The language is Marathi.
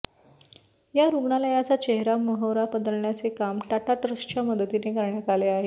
या रुग्णालयाचा चेहरामहोरा बदलण्याचे काम टाटा ट्रस्टच्या मदतीने करण्यात आले आहे